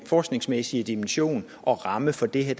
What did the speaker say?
forskningsmæssige dimension og ramme for det her